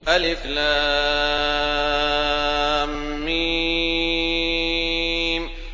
الم